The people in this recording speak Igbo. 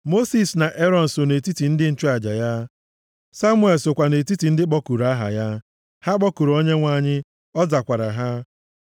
Mosis na Erọn so nʼetiti ndị nchụaja ya, Samuel sokwa nʼetiti ndị kpọkuru aha ya; ha kpọkuru Onyenwe anyị ọ zakwara ha.